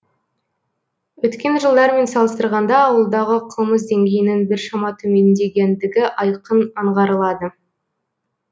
өткен жылдармен салыстырғанда ауылдағы қылмыс деңгейінің біршама төмендегендігі айқын аңғарылады